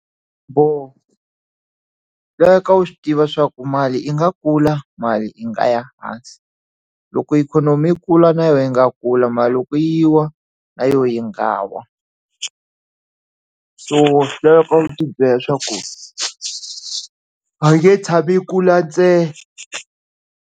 Xiboho loyi ka u swi tiva swa ku mali ingakula mali i nga ya hansi loko ikhonomi yi kula na yingakula mara loko yi wa na yoho yi nga wa so loko u tibyela swa ku a yi nge tshami yi kula ntsena.